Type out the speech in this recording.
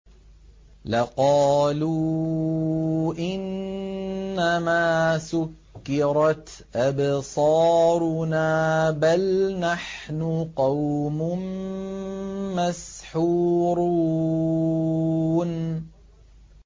لَقَالُوا إِنَّمَا سُكِّرَتْ أَبْصَارُنَا بَلْ نَحْنُ قَوْمٌ مَّسْحُورُونَ